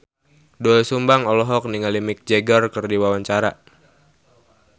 Doel Sumbang olohok ningali Mick Jagger keur diwawancara